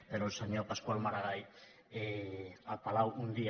però el senyor pascual maragall al palau un dia